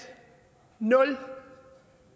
nul